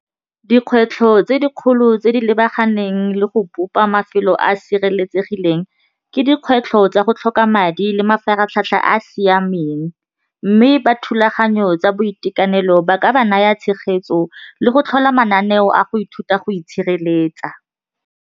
Dikgwetlho tse dikgolo tse di lebaganeng le go bopa mafelo a a sireletsegileng ke dikgwetlho tsa go tlhoka madi le mafaratlhatlha a a siameng mme ba thulaganyo tsa boitekanelo ba ka ba naya tshegetso le go tlhola mananeo a go ithuta go itshireletsa.